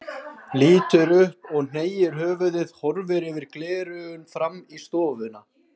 Lítur upp og hneigir höfuðið, horfir yfir gleraugun fram í stofuna.